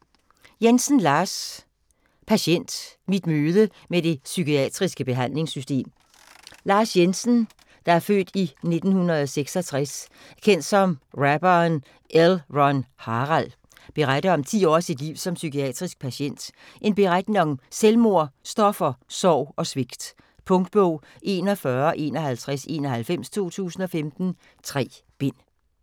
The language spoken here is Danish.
Jensen, Lars: Patient: mit møde med det psykiatriske behandlingssystem Lars Jensen (f. 1966), kendt som rapperen L:Ron:Harald, beretter om ti år af sit liv som psykiatrisk patient, en beretning om selvmord, stoffer, sorg og svigt. Punktbog 415191 2015. 3 bind.